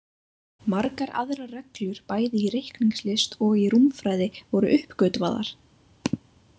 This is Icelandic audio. Margar aðrar reglur bæði í reikningslist og í rúmfræði voru uppgötvaðar.